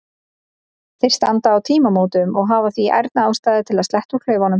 Þeir standa á tímamótum og hafa því ærna ástæðu til að sletta úr klaufunum.